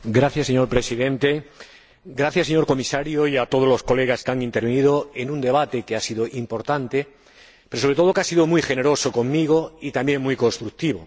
Señor Presidente, agradezco al señor Comisario y a todos los colegas su participación en este debate, que ha sido importante, pero que, sobre todo, ha sido muy generoso conmigo, y también muy constructivo.